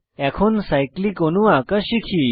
এখন সাইক্লিক অণু আঁকা শিখি